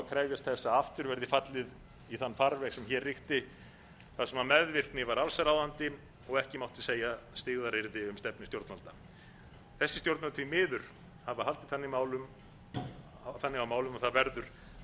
krefjast þess að aftur verði fallið í þann farveg sem hér ríkti þar sem meðvirkni var allsráðandi og ekki mátti segja styggðaryrði um stefnu stjórnvalda þessi stjórnvöld því miður hafa haldið þannig á málum að það verður að segja um